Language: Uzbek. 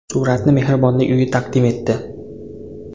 Suratni mehribonlik uyi taqdim etdi.